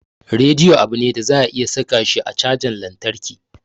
Radiyo abu ne da za a iya saka shi a cajan lantarki.